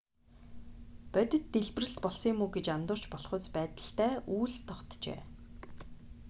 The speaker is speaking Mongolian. бодит дэлбэрэлт болсон юм уу гэж андуурч болохуйц байдалтай үүлс тогтжээ